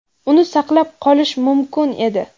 uni saqlab qolish mumkin edi.